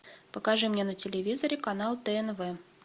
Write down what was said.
покажи мне на телевизоре канал тнв